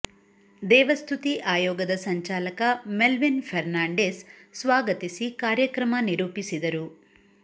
ದೇವ ಸ್ಥುತಿ ಆಯೋಗದ ಸಂಚಾಲಕ ಮೆಲ್ವಿನ್ ಫೆರ್ನಾಂಡಿಸ್ ಸ್ವಾಗತಿಸಿ ಕಾರ್ಯಕ್ರಮ ನಿರೂಪಿಸಿದರು